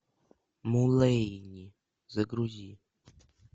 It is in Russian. мулэйни загрузи